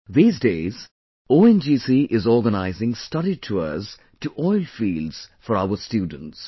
These days, ONGC is organizing study tours to oil fields for our students